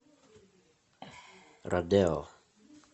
родео